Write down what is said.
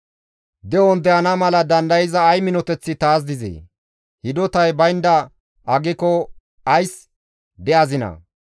«De7on de7ana mala dandayza ay minoteththi taas dizee? Hidotay baynda aggiko ays de7azinaa?